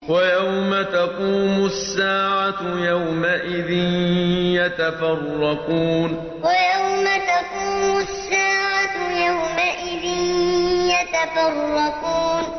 وَيَوْمَ تَقُومُ السَّاعَةُ يَوْمَئِذٍ يَتَفَرَّقُونَ وَيَوْمَ تَقُومُ السَّاعَةُ يَوْمَئِذٍ يَتَفَرَّقُونَ